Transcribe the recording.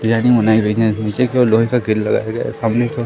तैयारी होने नीचे की ओर लोहे का किल लगाया गया है सामने को--